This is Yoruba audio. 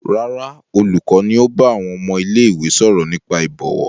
Rárá, olùkọ́ ni ó bá àwọn ọmọ ilé-ìwé sọ̀rọ̀ nípa ìbọ̀wọ̀.